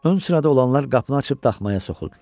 Ön sırada olanlar qapını açıb daxmaya soxuldular.